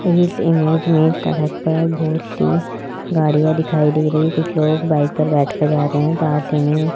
इस इमेज में सड़क पर बहुत सी गाड़ियां दिखाई दे रही हैं कुछ लोग बाइक पर बैठकर जा रहे हैं में --